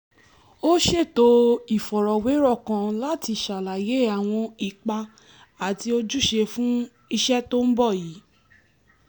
o ṣeto ifọrọwerọ kan lati ṣalaye awọn ipa ati ojuṣe fun iṣẹ to n bọ yii